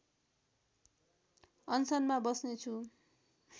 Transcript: अनसनमा बस्नेछु